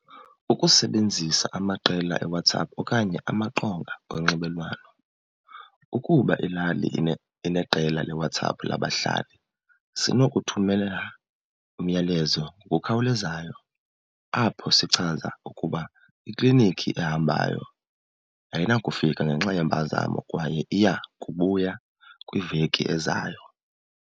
Ukusebenzisa amaqela eWhatsApp okanye amaqonga onxibelelwano. Ukuba ilali ineqela leWhatsApp labahlali sinokuthumelela umyalezo ngokukhawulezayo apho sichaza ukuba ikliniki ehambayo ayinakufika ngenxa yempazamo kwaye iya kubuya kwiveki ezayo.